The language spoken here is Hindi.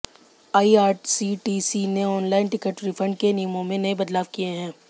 आईआरसीटीसी ने ऑनलाइन टिकट रिफंड के नियमों में नए बदलाव किए हैं